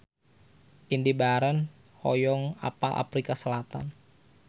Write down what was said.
Indy Barens hoyong apal Afrika Selatan